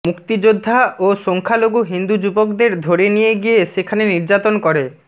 মুক্তিযোদ্ধা ও সংখ্যালঘু হিন্দু যুবকদের ধরে নিয়ে গিয়ে সেখানে নির্যাতন করে